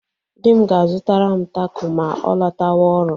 Di m ga-azụtara m tako ma ọ lọtawa ọrụ.